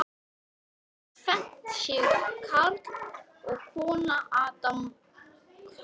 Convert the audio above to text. Aðeins sem tvennd séu karl og kona Adam andspænis Guði.